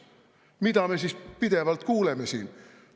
Mida me siis pidevalt kuuleme siin?